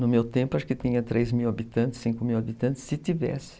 No meu tempo, acho que tinha três mil habitantes, cinco mil habitantes, se tivesse.